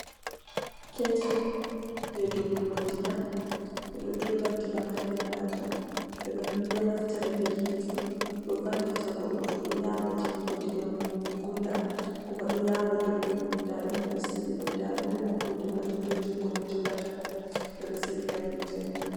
Ketil je dollugo ndiyam. Ɓe ɗo dolla ndiyam haa nder maajum, ɓe ɗo, ɗo naftira be hite on, ɗo vallita goɗɗo to ɗo yaawa defugo ndiyam gulɗam, kuma ɗo yaawa dollugo. Nda ɗum ɓe ɗo sigi ɗum, nda ɗum be maɓɓode maajum, be jungo ɓe jogata ɗum, ɓe ɗo sigi haa dow tebur.